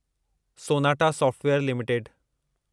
Sonata Software limited